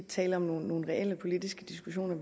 tale om nogle reelle politiske diskussioner